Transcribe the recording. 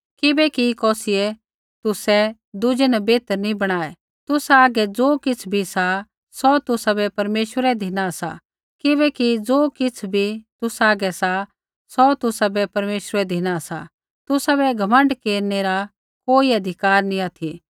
किबैकि कौसियै तुसाबै दुज़ै न बेहतर नैंई बणाऊ तुसा हागै ज़ो किछ़ भी सा सौ तुसाबै परमेश्वरै धिना सा किबैकि ज़ो किछ़ भी तुसा हागै सा सौ तुसाबै परमेश्वरै धिना सा तुसाबै घमण्ड केरनै री कोई अधिकार नैंई ऑथि